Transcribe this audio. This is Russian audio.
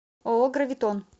ооо гравитон